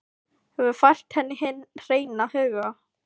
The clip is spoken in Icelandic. Hefur fært henni hinn hreina huga.